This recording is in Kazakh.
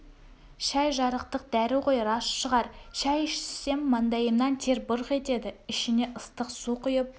шай жарықтық дәрі ғой рас шығар шай ішсем маңдайымнан тер бұрқ етеді ішіңе ыстық су құйып